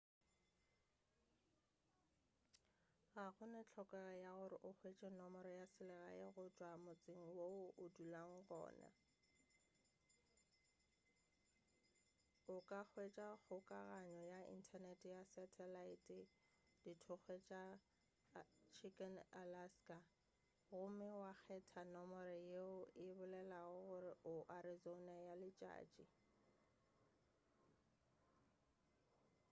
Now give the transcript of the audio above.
ga gona hlokego ya gore o hwetše nomoro ya selegae go tšwa motseng wo o dulago go wona o ka hwetša kgokaganyo ya inthanete ya satalaete dithokgwe tša chicken alaska gomme wa kgetha nomoro yeo e bolelago gore o arizona ya letšatši